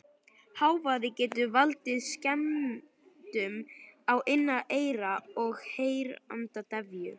Hávaði getur valdið skemmdum á innra eyra og heyrnardeyfu.